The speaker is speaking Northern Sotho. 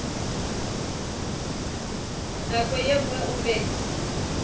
nako ye nngwe o be